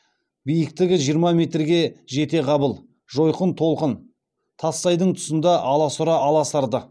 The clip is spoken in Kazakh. биіктігі жиырма метрге жетеғабыл жойқын толқын тассайдың тұсында аласұра аласарды